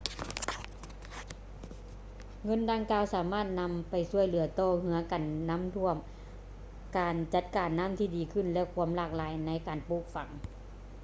ເງິນດັ່ງກ່າວ ສາມາດນຳໄປຊ່ວຍເຫຼືືອຕໍ່ ເຮືອນກັນນ້ຳຖ້ວມ ການຈັດການນ້ຳທີ່ດີຂຶ້ນ ແລະ ຄວາມຫຼາກຫຼາຍໃນການປູກຝັງ